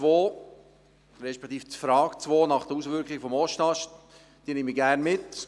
Die Frage 2 nach den Auswirkungen des Ostasts nehme ich gerne mit.